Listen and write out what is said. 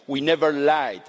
We never lied.